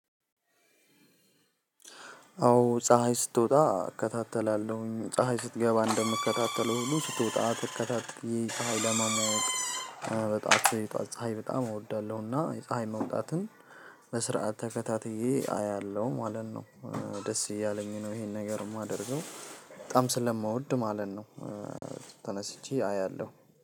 አዎ ፀሀይ ስትወጣ እከታተላለሁኝ ፀሀይ ስትገባ እንደምከታተለው ሁሉ ስትወጣ ትከታትየ ፀሀይ ለመሞቅ በጠዋት የጠዋት ፀሀይ በጣም እወዳለሁና የፀሀይ መውጣትን በስርዓት ተከታትዬ አያለሁ ማለት ነው። ደስ እያለኝ ነው። ይሄን ነገር የማደርገው በጣም ስለምወድ ማለት ነው። ተነስቼ አያለሁ